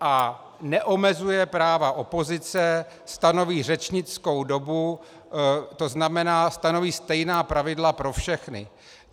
A neomezuje práva opozice stanoví řečnickou dobu, to znamená stanoví stejná pravidla pro všechny.